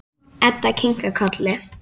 Edda kinkar kolli.